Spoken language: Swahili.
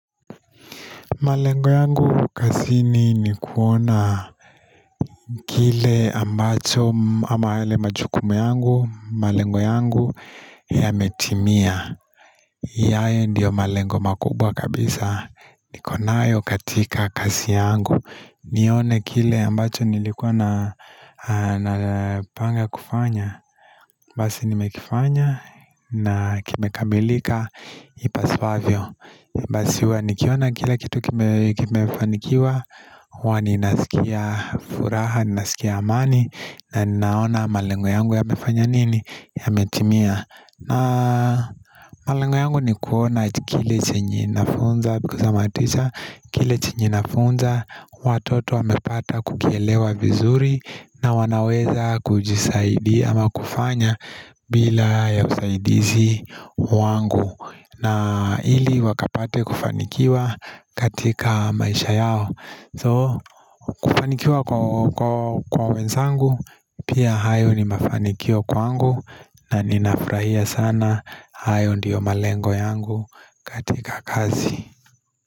Malengo yangu kazini ni kuona kile ambacho ama yale majukumu yangu, malengo yangu yametimia. Ndiyo malengo makubwa kabisa, nikonayo katika kazi yangu, nione kile ambacho nilikuwa na panga kufanya. Basi nimekifanya na kimekamilika ipaswavyo. Basi huwa nikiona kila kitu kimefanikiwa huwa ninasikia furaha, ninasikia amani na naona malengo yangu ya mefanya nini? Yametimia na malengo yangu ni kuona kile chenye nafunza Because I am a teacher kile chenye nafunza Watoto wamepata kukielewa vizuri na wanaweza kujisaidia ama kufanya bila ya usaidizi wangu na ili wakapate kufanikiwa katika maisha yao So kufanikiwa kwa wenzangu Pia hayo ni mafanikio kwangu na ninafurahia sana hayo ndio malengo yangu katika kazi.